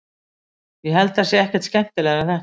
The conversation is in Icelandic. ég held það sé ekkert skemmtilegra en þetta